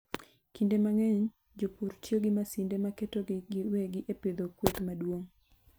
Kinde mang'eny, jopur tiyo gi masinde maketogi giwegi e pidho kweth maduong'.